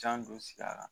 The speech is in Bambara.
Jan don sigi a la